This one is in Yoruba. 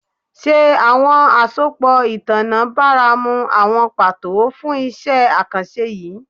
Ṣe awọn asopọ itanna baramu awọn pato fun iṣẹ akanṣe yii?